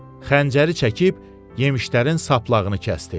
Xəncəri çəkib yemişlərin saplağını kəsdi.